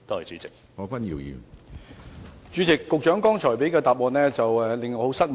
主席，我對局長剛才的答覆很感失望。